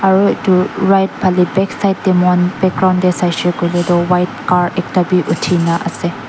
aru edu right phale backside de moikhan background de saishe koile toh white car ekta b uthi na ase.